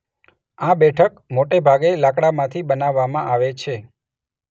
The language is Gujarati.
આ બેઠક મોટેભાગે લાકડામાંથી બનાવવામાં આવે છે.